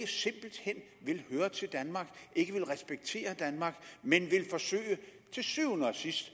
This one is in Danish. vil høre til danmark ikke vil respektere danmark men til syvende og sidst